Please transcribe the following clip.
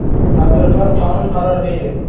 Tadbirkor qonun, qaror, deydi.